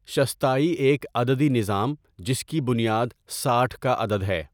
شصتائی ایک عددی نظام جس کی بنیاد ساٹھ کا عدد ہے.